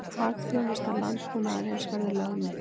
Hagþjónusta landbúnaðarins verði lögð niður